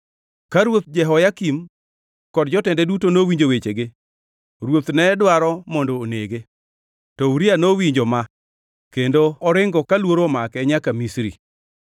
Ka Ruoth Jehoyakim kod jotende duto nowinjo wechege, ruoth ne dwaro mondo onege. To Uria nowinjo ma kendo oringo ka luoro omake nyaka Misri.